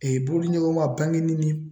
bolodiɲɔgɔnna ni